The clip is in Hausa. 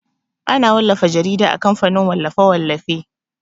Ana wallafa jarida a kamfanin wallafe-wallafe.